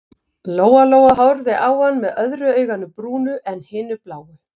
Lóa-Lóa horfði á hann með öðru auganu brúnu en hinu bláu.